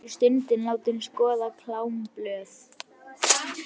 Þar var ég stundum látin skoða klámblöð.